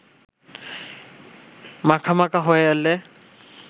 মাখামাখা হয়ে এলে